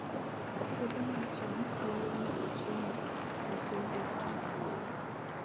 Puothe mag cham nyalo nyago chiemo matin e gwenge maboyo